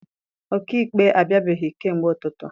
Ọkaikpe abịabeghị kamgbe ụtụtụ.